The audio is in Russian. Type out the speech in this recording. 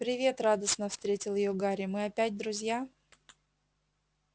привет радостно встретил её гарри мы опять друзья